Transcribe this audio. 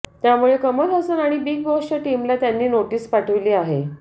त्यामुळे कमल हसन आणि बिग बॉसच्या टीमला त्यांनी नोटीस पाठवली आहे